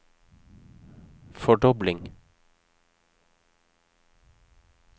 fordobling